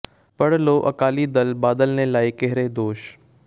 ਪੜ੍ਹ ਲਓ ਅਕਾਲੀ ਦਲ ਬਾਦਲ ਨੇ ਲਾਏ ਕਿਹੜੇ ਦੋਸ਼